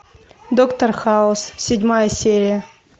доктор хаус седьмая серия